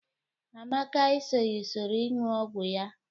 Amaka esoghi usoro iṅụ ọgwọ ya.